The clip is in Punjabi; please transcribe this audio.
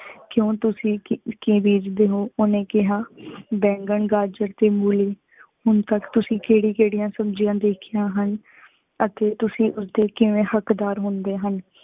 ਕਿਉਂ ਤੁਸੀਂ ਕੀ ਬੀਜਦੇ ਹੋ, ਓਹਨੇ ਕਿਹਾ ਬੈਂਗਣ, ਗਾਜਰ ਤੇ ਮੂਲਿ। ਹੁਣ ਤਕ ਤੁਸੀਂ ਕੇੜੀ ਕੇੜਿਆਂ ਸਬ੍ਜਿਯਾੰ ਦੇਖੀਆਂ ਹਨਅਤੇ ਤੁਸੀਂ ਉਸਦੇ ਕਿਵੇਂ ਹਕ਼ਦਾਰ ਹੁੰਦੇ ਹਨ?